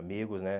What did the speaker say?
Amigos, né?